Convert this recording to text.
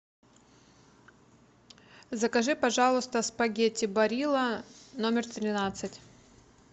закажи пожалуйста спагетти барилла номер тринадцать